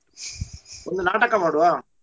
ಒಂದು ನಾಟಕ ಮಾಡುವಾ?